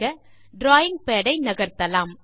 drawing pad ஐ நகர்த்தலாம்